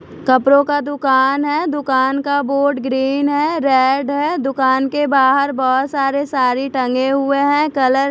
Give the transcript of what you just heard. कपड़ों का दुकान है दुकान का बोर्ड ग्रीन है रेड है दुकान के बाहर बहोत सारे सारी टंगे हुए हैं कलर --